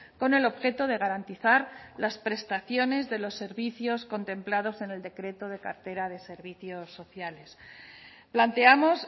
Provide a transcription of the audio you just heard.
con el objeto de garantizar las prestaciones de los servicios contemplados en el decreto de cartera de servicios sociales planteamos